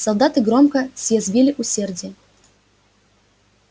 солдаты громко съязвили усердие